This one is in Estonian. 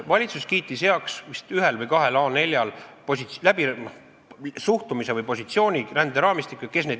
Valitsus kiitis heaks vist ühel või kahel A4-lehel suhtumise ränderaamistikku või positsiooni selle suhtes.